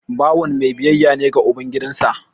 Bawan mai biyayya ne ga uban gidansa